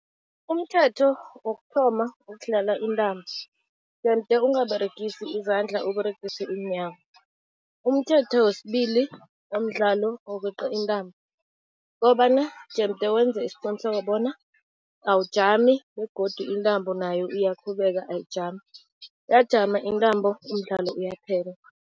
Umthetho wokuthoma wokudlala intambo, jemde ungaberegisi izandla, Uberegise iinyawo. Umthetho wesibili womdlalo wokweqa intambo, kukobana jemde wenze isiqiniseko bona awujami begodu intambo nayo iyaqhubeka ayijami, yajama intambo, umdlalo uyaphela.